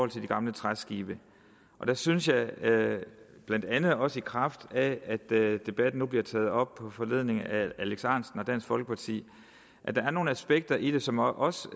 de gamle træskibe og der synes jeg blandt andet også i kraft af at debatten nu bliver taget op på foranledning af herre alex ahrendtsen og dansk folkeparti at der er nogle aspekter i det som også